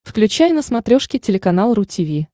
включай на смотрешке телеканал ру ти ви